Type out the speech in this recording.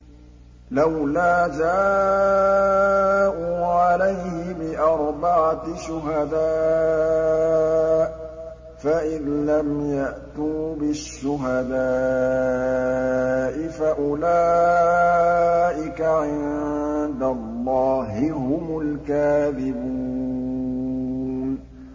لَّوْلَا جَاءُوا عَلَيْهِ بِأَرْبَعَةِ شُهَدَاءَ ۚ فَإِذْ لَمْ يَأْتُوا بِالشُّهَدَاءِ فَأُولَٰئِكَ عِندَ اللَّهِ هُمُ الْكَاذِبُونَ